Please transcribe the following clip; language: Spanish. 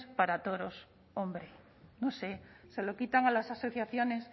para toros hombre no sé se lo quitan a las asociaciones